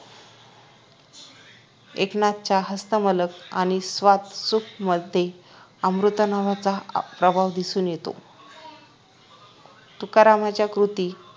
एकनाथांच्या हस्तमलक आणि स्वात्मसुखमध्ये अमृतानुभवाचा प्रभाव दिसून येतो तुकारामांच्या कृती